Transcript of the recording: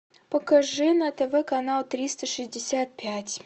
покажи на тв канал триста шестьдесят пять